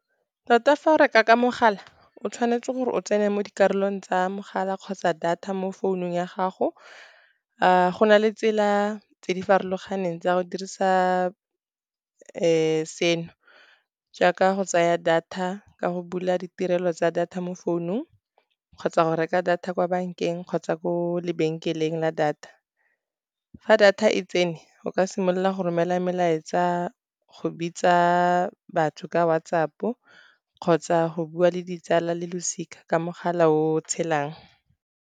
Tota fa o reka ka mogala, o tshwanetse gore o tsene mo dikarolong tsa mogala kgotsa data mo founung ya gago. Go na le tsela tse di farologaneng tsa go dirisa seno, jaaka go tsaya data ka go bula ditirelo tsa data mo founung. Kgotsa go reka data kwa bank-eng kgotsa ko lebenkeleng la data, fa data e tsene o ka simolola go romela melaetsa go bitsa batho ka WhatsApp, kgotsa go bua le ditsala le losika ka mogala o o tshelang.